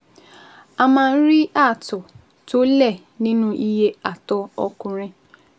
A máa ń rí ààtọ̀ tó lẹ nínú iye àtọ̀ ọkùnrin